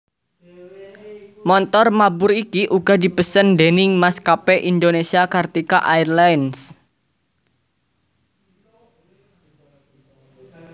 Montor mabur iki uga dipesen déning Maskapé Indonésia Kartika Airlines